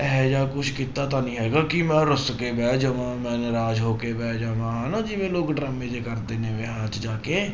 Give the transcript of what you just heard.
ਇਹੋ ਜਿਹਾ ਕੁਛ ਕੀਤਾ ਤਾਂ ਨੀ ਹੈਗਾ ਕਿ ਮੈਂ ਰੁਸ ਕੇ ਬਹਿ ਜਾਵਾਂ, ਮੈਂ ਨਾਰਾਜ਼ ਹੋ ਕੇ ਬਹਿ ਜਾਵਾਂ ਹਨਾ ਜਿਵੇਂ ਲੋਕ ਡਰਾਮੇ ਜਿਹੇ ਕਰਦੇ ਨੇ ਵਿਆਹਾਂ 'ਚ ਜਾ ਕੇ